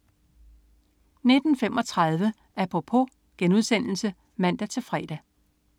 19.35 Apropos* (man-fre)